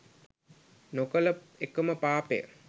නොකළ එකම පාපය